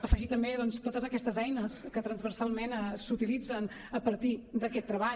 afegir també doncs totes aquestes eines que transversalment s’utilitzen a partir d’aquest treball